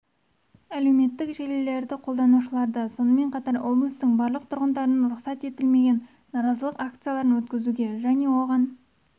әлеуметтік желілерді қолданушыларды сонымен қатар облыстың барлық тұрғындарын рұқсат етілмеген наразылық акцияларын өткізуге және оған